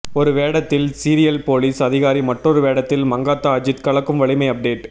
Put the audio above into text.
ஒரு வேடத்தில் serious police அதிகாரி மற்றொரு வேடத்தில் மங்காத்தா அஜித் கலக்கும் வலிமை அப்டேட்